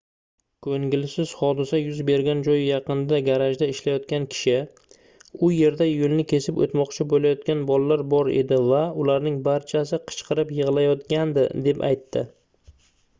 koʻngilsiz hodisa yuz bergan joy yaqinidagi garajda ishlayotgan kishi u yerda yoʻlni kesib oʻtmoqchi boʻlayotgan bolalar bor edi va ularning barchasi qichqirib yigʻlayotgandi deb aytdi